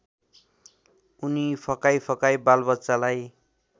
उनी फकाइफकाइ बालबच्चालाई